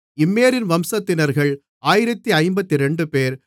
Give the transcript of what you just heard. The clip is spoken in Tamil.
இம்மேரின் வம்சத்தினர்கள் 1052 பேர்